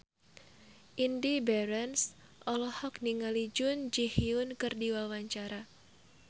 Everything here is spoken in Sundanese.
Indy Barens olohok ningali Jun Ji Hyun keur diwawancara